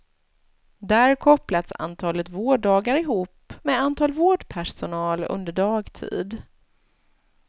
Där kopplas antalet vårddagar ihop med antal vårdpersonal under dagtid.